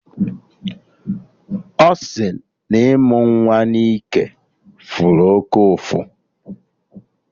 Ọ sị na ịmụ nwa na ike fụrụ oké ụfụ